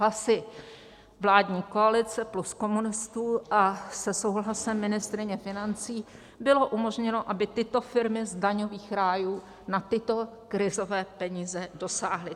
Hlasy vládní koalice plus komunistů a se souhlasem ministryně financí bylo umožněno, aby tyto firmy z daňových rájů na tyto krizové peníze dosáhly.